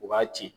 U b'a ci